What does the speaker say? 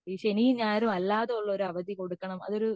ഈ ശനിയും ഞായറും അല്ലാതെ ഉള്ള ഒരു അവധി കൊടുക്കണം അതൊരു